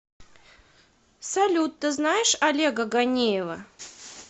салют ты знаешь олега ганеева